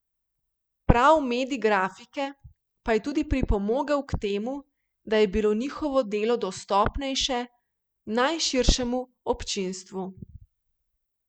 Prav medij grafike pa je tudi pripomogel k temu, da je bilo njihovo delo dostopnejše najširšemu občinstvu.